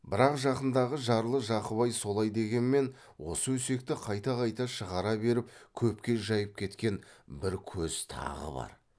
бірақ жақындағы жарлы жақыбай солай дегенмен осы өсекті қайта қайта шығара беріп көпке жайып кеткен бір көз тағы бар